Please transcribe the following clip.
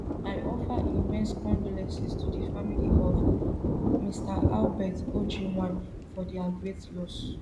i offer immense condolences to di family of mr albert ojwang for dia great loss